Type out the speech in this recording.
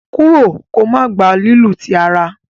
kúrò kò má gbà lílu tí àrà!